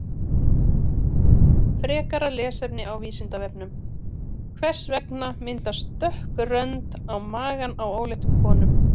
Frekara lesefni á Vísindavefnum: Hvers vegna myndast dökk rönd á maganum á óléttum konum?